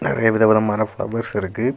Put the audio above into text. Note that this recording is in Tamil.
நறைய விதவிதமான ஃப்ளவர்ஸ் இருக்கு.